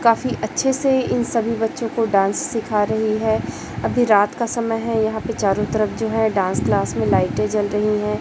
काफी अच्छे से इन सभी बच्चों को डांस सिखा रही है अभी रात का समय है यहां पे चारों तरफ जो है डांस क्लास में लाइटें जल रही है।